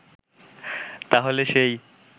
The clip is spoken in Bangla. তাহলে সেই